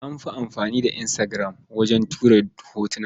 An fi amfani da Instagram wajen tura hotuna.